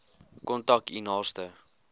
kontak u naaste